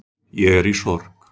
Ég er í sorg